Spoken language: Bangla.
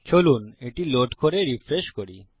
চলুন এটি লোড করে রিফ্রেশ করি